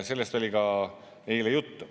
Sellest oli ka eile juttu.